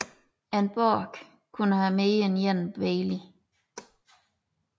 En borg kunne have mere end én bailey